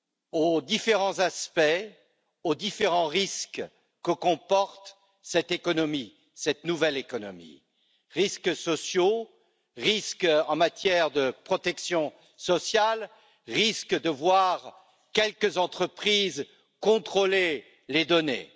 aux différents aspects, aux différents risques que comporte cette économie, cette nouvelle économie risques sociaux, risques en matière de protection sociale, risques de voir quelques entreprises contrôler les données.